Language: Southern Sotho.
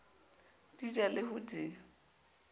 di ja le ho di